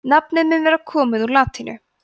nafnið mun vera komið úr latínu